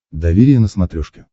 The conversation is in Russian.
доверие на смотрешке